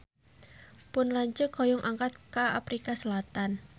Pun lanceuk hoyong angkat ka Afrika Selatan